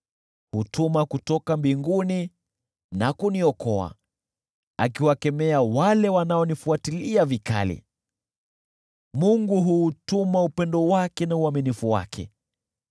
Hutumana kutoka mbinguni na kuniokoa, akiwakemea wale wanaonifuatilia vikali; Mungu huutuma upendo wake na uaminifu wake.